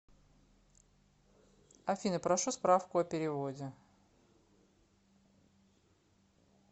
афина прошу справку о переводе